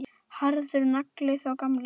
Harður nagli, sá gamli.